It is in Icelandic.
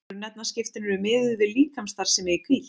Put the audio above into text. Grunnefnaskiptin eru miðuð við líkamsstarfsemi í hvíld.